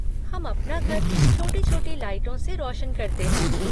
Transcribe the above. हम अपना घर छोटी छोटी लाइटों से रोशन करते हैं।